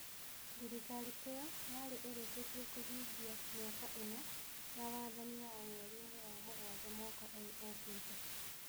Thirikari ĩyo yarĩ ĩrĩkĩtie kũhingia mĩaka ĩna ya wathani wayo mweri-inĩ wa mũgwanja mwaka ũyũ ũkĩte.